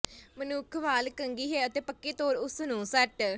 ਮਨੁੱਖ ਵਾਲ ਕੰਘੀ ਹੈ ਅਤੇ ਪੱਕੇ ਤੌਰ ਉਸ ਨੂੰ ਸੱਟ